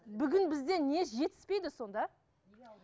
бүгін бізде не жетіспейді сонда